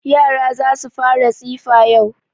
Yara za su fara tsifa yau.